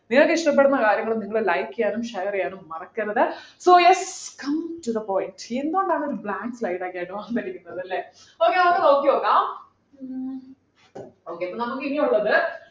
നിങ്ങൾക്കിഷ്ടപ്പെടുന്ന കാര്യങ്ങൾ നിങ്ങൾ like ചെയ്യാനും share ചെയ്യാനും മറക്കരുത് so yes come to the point എന്താ നമ്മൾ blank slide ഒക്കെയായിട്ട് വന്നിരിക്കുന്നതല്ലേ അല്ലെ okay നമ്മക്ക് നോക്കിനോക്കാം okay അപ്പോ നമ്മക്കിനി ഉള്ളത്